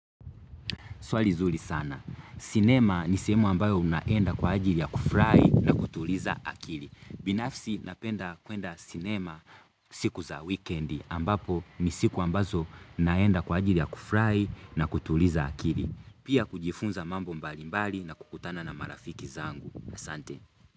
Swali zuri sana sinema ni sehrmu ambayo unaenda kwa ajili ya kufurai na kutuliza akili binafsi napenda kuenda sinema siku za wekendi ambapo ni siku ambazo naenda kwa ajili ya kufurai na kutuliza akili pia kujifunza mambo mbali mbali na kukutana na marafiki zangu asante.